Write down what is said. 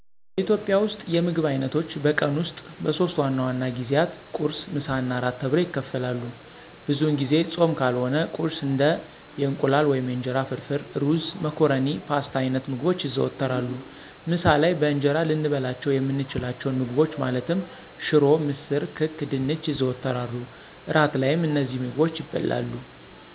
በኢትዮጵያ ውስጥ የምግብ አይነቶች በቀን ውስጥ በሶስት ዋና ዋና ጊዜያት ቁርስ፣ ምሳ እና እራት ተብለው ይከፈላሉ። ብዙውን ጊዜ ፆም ካልሆነ ቁርስ እንደ የእንቁላል ወይም የእንጀራ ፍርፍር፣ ሩዝ፣ መኮረኒ ፓስታ አይነት ምግቦች ይዘወተራሉ። ምሳ ላይ በእንጀራ ልንበላቸው የምንችላቸውን ምግቦች ማለትም ሽሮ፣ ምስር፣ ክክ፣ ድንች ይዘወተራሉ። እራት ላይም እነዚሁ ምግቦች ይበላሉ።